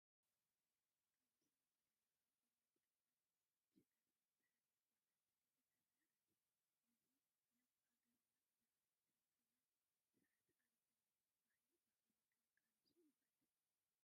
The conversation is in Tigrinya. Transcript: ኣብ ወሰን ጐደና ኣብ እዋን ፀልማት ሽጋራ ዝሓዘት ጓል ኣነስተይቲ ትርአ ኣላ፡፡ ነዚ ናብ ሃገርና ዝተኣታተወ ስርዓት ኣልበኛ ባህሊ ብኸመይ ክንቃለሶ ንኽእል?